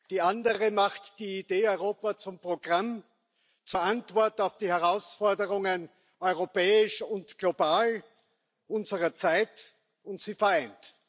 Die andere macht die Idee Europa zum Programm, zur Antwort auf die Herausforderungen europäisch und global unserer Zeit, und sie vereint.